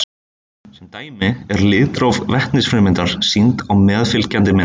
Sem dæmi eru litróf vetnisfrumeindarinnar sýnd á meðfylgjandi mynd.